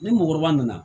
Ni mɔgɔkɔrɔba nana